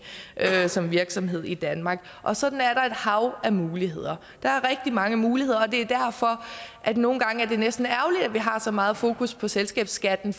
som virksomhed i danmark og sådan er der et hav af muligheder der er rigtig mange muligheder og det er derfor at det nogle gange er næsten ærgerligt at vi har så meget fokus på selskabsskatten